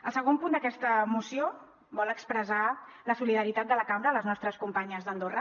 el segon punt d’aquesta moció vol expressar la solidaritat de la cambra amb les nostres companyes d’andorra